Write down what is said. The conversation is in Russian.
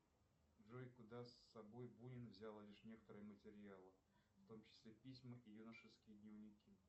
джой куда с собой бунин взял лишь некоторые материалы в том числе письма и юношеские дневники